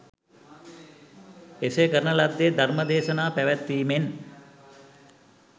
එසේ කරන ලද්දේ ධර්ම දේශනා පැවැත්වීමෙන්